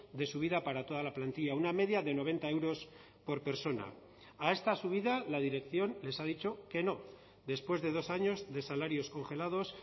de subida para toda la plantilla una media de noventa euros por persona a esta subida la dirección les ha dicho que no después de dos años de salarios congelados